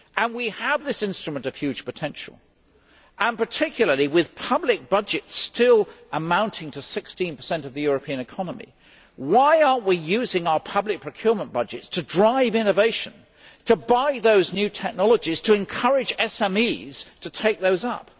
We have this instrument of huge potential and, particularly with public budgets still amounting to 16 of the European economy, why are we not using our public procurement budgets to drive innovation, to buy those new technologies, to encourage SMEs to take those up?